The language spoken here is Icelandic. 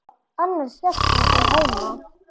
Annars hélt hann sig heima.